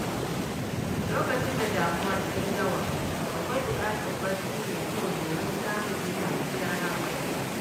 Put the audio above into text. Lokacin da damuwa ta yi yawa, akwai bukatar barci mai kyau domin samun kwanciyar hankali.